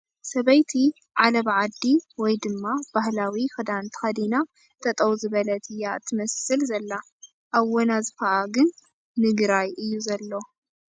ሰበይቲ ዓለባ ዓዲ ወይ ድማ ባህላዊ ክዳን ተኸዲና ጠጠው ዝበለት እያ እትመስል ዘላ ፡ ኣዋናዝፋኣ ግን ንግራይ እዩ ዘሎ ።